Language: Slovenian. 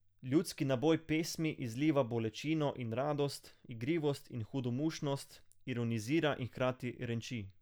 Ljudski naboj pesmi izliva bolečino in radost, igrivost in hudomušnost, ironizira in hkrati renči.